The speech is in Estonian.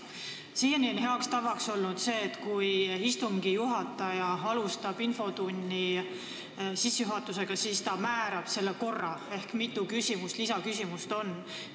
Siiani on olnud hea tava, et kui istungi juhataja alustab infotunni sissejuhatust, siis ta määrab infotunni korra ehk mitu lisaküsimust võib esitada.